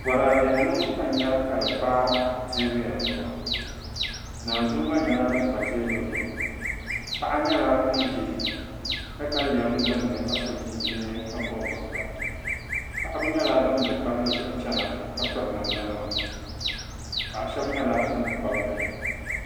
Bɔraadenima ka n nya ka di pa teebuya zuɣu naanzua ɡba nyɛla din pa teebuli zuɣu paɣa nyɛla ŋun ʒi takalɛm ɡbunni ka so chinchini ka bɔbi bɔbiɡa paɣiba nyɛla ban be palli zuɣu chana ka piri namdanima paɣ' shɛba nyɛla ban kpabi bihi